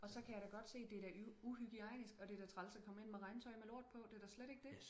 og så kan jeg da godt se det er da uhygienisk og det er da træls at komme ind med regntøj med lort på det er da slet ikke det